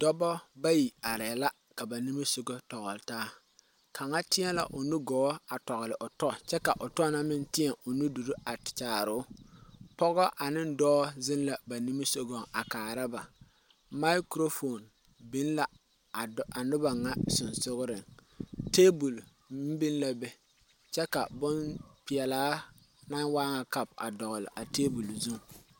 Noba bayi are la ka ba nimisɔgɔ kyaare taa, kaŋa teɛ la o nugɔɔ a tɔgeli o tɔ kyɛ ka o tɔ meŋ teɛ o nuduuri a kyaare o tɔ pɔgɔ ane ɖɔɔ zeŋ la ba nimitɔreŋ a kaara ba microphone biŋ la noba ŋa kpakyegaŋ tabol meŋ biŋ la be kyɛ ka bon pɛɛlaa naŋ waa ŋa kapo a dɔgeli a tabol zʋŋ.